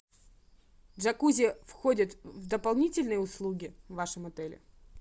джакузи входит в дополнительные услуги в вашем отеле